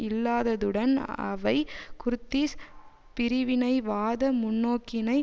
இல்லாததுடன் அவை குர்திஷ் பிரிவினைவாத முன்னோக்கினை